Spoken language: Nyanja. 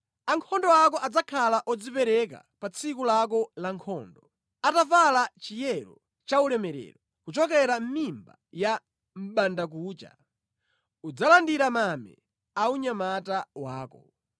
Ankhondo ako adzakhala odzipereka pa tsiku lako la nkhondo. Atavala chiyero chaulemerero, kuchokera mʼmimba ya mʼbandakucha, udzalandira mame a unyamata wako.